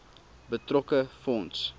betrokke fonds